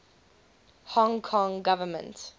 hong kong government